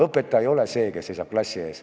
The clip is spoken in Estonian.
Õpetaja ei ole see, kes seisab klassi ees.